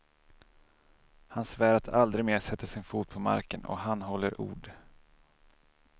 Han svär att aldrig mer sätta sin fot på marken och han håller ord.